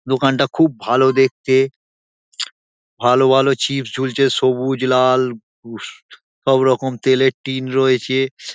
দোকানটা খুব ভালো দেখতে । ভালো ভালো চিপস ঝুলছে সবুজ লাল সবরকম তেলের টিন রয়েছে।